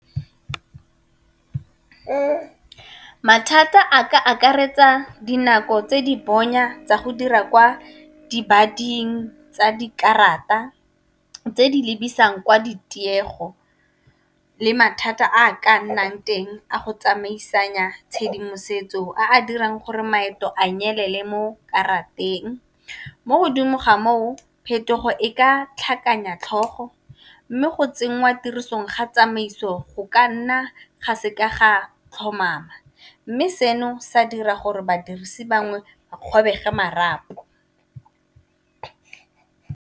Mathata a ka akaretsa dinako tse di bonya tsa go dira kwa di bading tsa dikarata tse di lebisang kwa ditiego, le mathata a ka nnang teng a go tsamaisanya tshedimosetso a a dirang gore maeto a nyelele mo karateng. Mo godimo ga moo phetogo e ka tlhakanya tlhogo, mme go tsenngwa tirisong ga tsamaiso go ka nna ga se ka ga tlhomama mme seno sa dira gore badirisi bangwe a kgobege marapo.